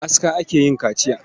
Da aska ake yin kaciya.